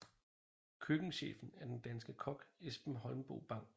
Køkkenchefen er den danske kok Esben Holmboe Bang